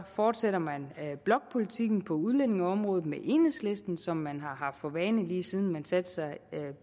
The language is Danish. fortsætter man blokpolitikken på udlændingeområdet med enhedslisten som man har haft for vane lige siden man satte sig